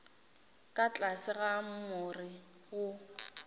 ka tlase ga more wo